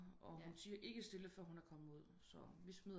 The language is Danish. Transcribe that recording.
Og hun tier ikke stille før hun er kommet ud så vi